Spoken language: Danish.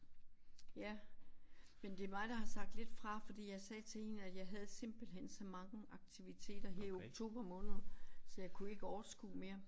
Ja men det mig der har sagt lidt fra fordi jeg sagde til hende at jeg havde simpelthen så mange aktiviteter her i oktober måned så jeg kunne ikke overskue mere